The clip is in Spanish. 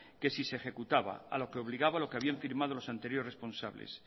que si se ejecutaba a lo que obligaba lo que habían firmado los anteriores responsables